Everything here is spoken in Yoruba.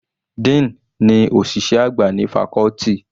Dean ní òṣìṣẹ́ àgbà ní faculty.